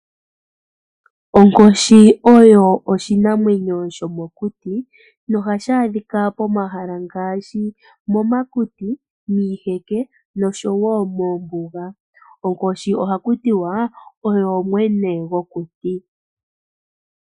Onkoshi oyo oshinamwenyo sho mokuti no ha shaadhika po mahala ngaashi momakuti, miiheke no sho wo moombuga. Onkoshi oha ku tiwa oyo mwene gwo kuti.